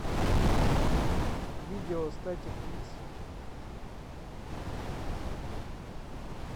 видео статик икс